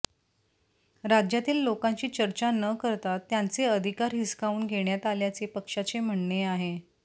राज्यातील लोकांशी चर्चा न करता त्यांचे अधिकार हिसकावून घेण्यात आल्याचे पक्षाचे म्हणणे आहे